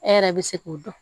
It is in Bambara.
E yɛrɛ bɛ se k'o dɔn